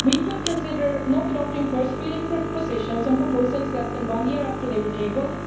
We could consider not adopting first reading positions on proposals less than one year after they were tabled.